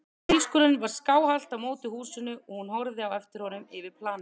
Bílskúrinn var skáhallt á móti húsinu og hún horfði á eftir honum yfir planið.